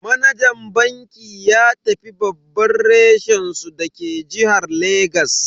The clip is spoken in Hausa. Manajan bankin ya tafi babban reshen su dake jihar Legas.